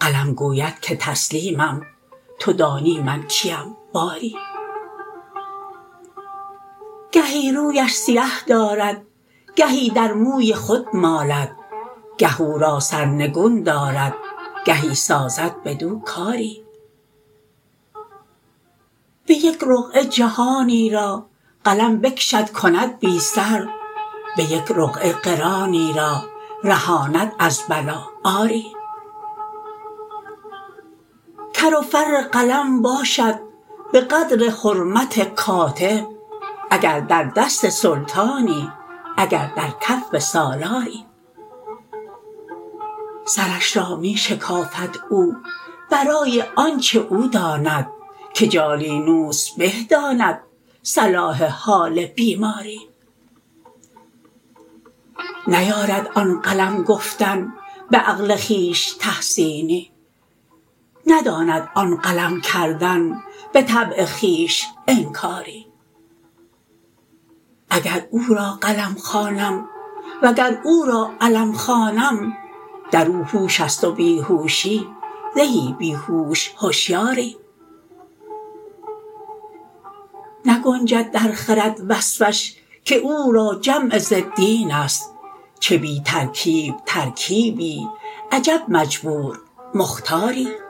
قلم گوید که تسلیمم تو دانی من کیم باری گهی رویش سیه دارد گهی در موی خود مالد گه او را سرنگون دارد گهی سازد بدو کاری به یک رقعه جهانی را قلم بکشد کند بی سر به یک رقعه قرانی را رهاند از بلا آری کر و فر قلم باشد به قدر حرمت کاتب اگر در دست سلطانی اگر در کف سالاری سرش را می شکافد او برای آنچ او داند که جالینوس به داند صلاح حال بیماری نیارد آن قلم گفتن به عقل خویش تحسینی نداند آن قلم کردن به طبع خویش انکاری اگر او را قلم خوانم و اگر او را علم خوانم در او هوش است و بی هوشی زهی بی هوش هشیاری نگنجد در خرد وصفش که او را جمع ضدین است چه بی ترکیب ترکیبی عجب مجبور مختاری